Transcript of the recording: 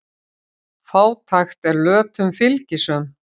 Fátækt er lötum fylgisöm.